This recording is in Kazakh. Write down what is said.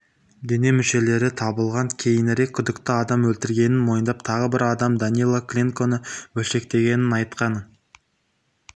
дене мүшелері табылған кейінірек күдікті адам өлтіргенін мойындап тағы бір адам данила кленконы бөлшектегенін айтқан